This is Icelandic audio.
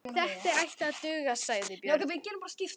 Þetta ætti að duga, sagði Björn.